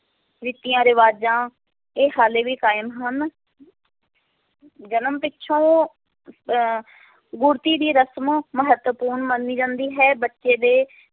ਰੀਤੀਆਂ ਰਿਵਾਜਾਂ, ਇਹ ਹਾਲੇ ਵੀ ਕਾਇਮ ਹਨ ਜਨਮ ਪਿੱਛੋਂ ਅਹ ਗੁੜ੍ਹਤੀ ਦੀ ਰਸ਼ਮ ਮਹੱਤਵਪੂਰਨ ਮੰਨੀ ਜਾਂਦੀ ਹੈ, ਬੱਚੇ ਦੇ